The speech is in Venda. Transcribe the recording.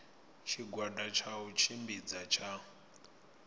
tshigwada tsha u tshimbidza tsha